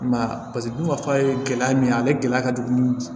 I m'a ye paseke bubaka ye gɛlɛya min ye ale gɛlɛya ka jugu